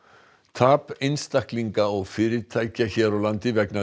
tap einstaklinga og fyrirtækja hér á landi vegna